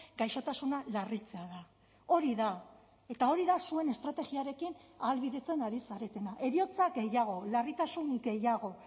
gaixotasuna larritzea da hori da eta hori da zuen estrategiarekin ahalbidetzen ari zaretena heriotza gehiago larritasun gehiago